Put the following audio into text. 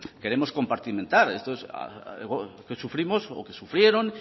queremos compartimentar que sufrimos o que sufrieron